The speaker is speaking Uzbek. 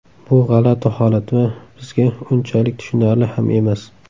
Bu g‘alati holat va bizga unchalik tushunarli ham emas.